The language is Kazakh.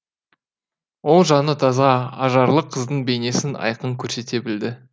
ол жаны таза ажарлы қыздың бейнесін айқын көрсете білді